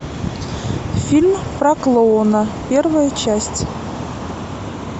фильм про клоуна первая часть